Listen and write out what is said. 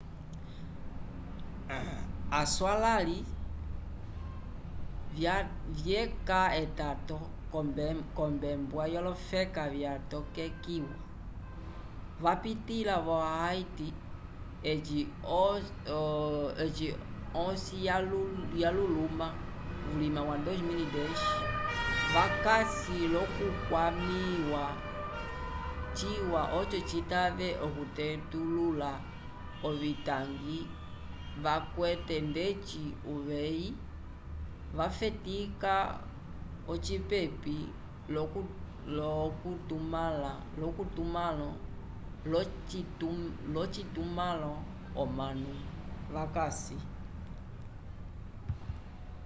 aswalãliv vyeca etato k'ombembwa yolofeka vyatokekiwa vapitĩla vo haiti eci osi yaluluma vulima wa 2010 vakasi l'okukwamĩwa ciwa oco citave okutetulula ovitangi vakwete ndeci uveyi wafetika ocipepi l'ocitumãlo omanu vakasi